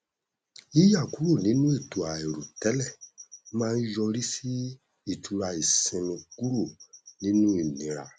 yíyà kúrò nínú ètò àìrò tẹlẹ má n yọrí sí ìtura ìsinmi kúrò nínù ìniira